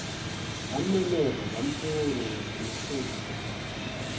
zamumemeza zamfuna nasemahlozini